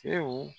Tew